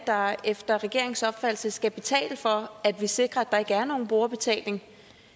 der efter regeringens opfattelse skal betale for at vi sikrer at der ikke er nogen brugerbetaling